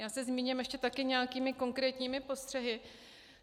Já se zmíním ještě také nějakými konkrétními postřehy.